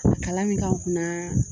Kalan min k'an kunna